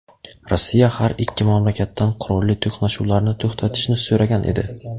Rossiya har ikki mamlakatdan qurolli to‘qnashuvlarni to‘xtatishni so‘ragan edi.